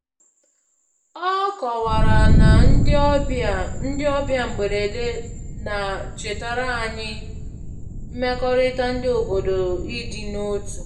Ọ kọwara na ndị ọbịa ndị ọbịa mgberede na-chetara anyị mmekọrịta ndị obodo na ịdị n'otu